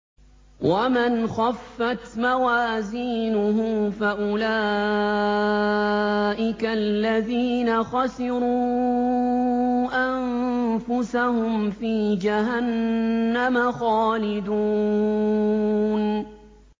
وَمَنْ خَفَّتْ مَوَازِينُهُ فَأُولَٰئِكَ الَّذِينَ خَسِرُوا أَنفُسَهُمْ فِي جَهَنَّمَ خَالِدُونَ